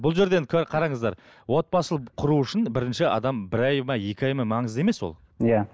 бұл жерде енді қараңыздар отбасы құру үшін бірінші адам бір ай ма екі ай ма маңызды емес ол иә